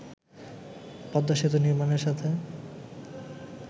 পদ্মা সেতু নির্মাণের সাথে